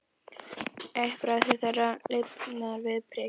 Eitt bragðið þeirra lífgar við prik.